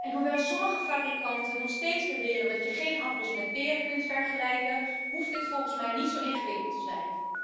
Hoewel sommige fabrikanten nog steeds beweren dat je geen appels met peren kunt vergelijken, hoeft dit volgens mij niet zo ingewikkeld te zijn.